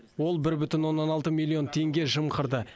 ол бір бүтін оннан алты миллион теңге жымқырды